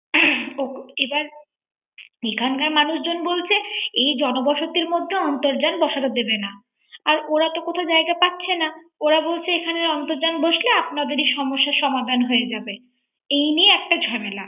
এবার এখানকার মানুষজন বলছে এই জনবসতির মধ্যে অর্ন্তজান বসাতে দেবে না। আর ওরা তো কোথায় জায়গা পাচ্ছে না। ওরা বলছে এখানে অর্ন্তজান বসলে আপনাদেরই সমস্যার সমাধান হয়ে যাবে। একটা জামেল